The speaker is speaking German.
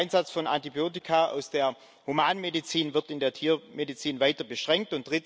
Zweitens Der Einsatz von Antibiotika aus der Humanmedizin wird in der Tiermedizin weiter beschränkt.